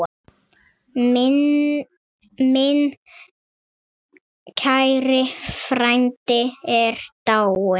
Minn kæri frændi er dáinn.